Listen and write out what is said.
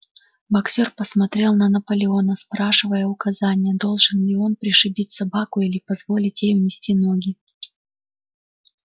боксёр посмотрел на наполеона спрашивая указания должен ли он пришибить собаку или позволить ей унести ноги